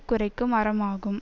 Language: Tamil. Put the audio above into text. குறைக்கும் அரம் ஆகும்